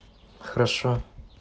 хорошо